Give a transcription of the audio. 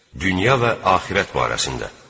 Dünya və axirət barəsində.